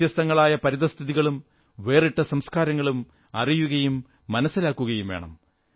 വ്യത്യസ്തങ്ങളായ പരിതഃസ്ഥിതികളും വേറിട്ട സംസ്ക്കാരങ്ങളും അറിയുകയും മനസ്സിലാക്കുകയും വേണം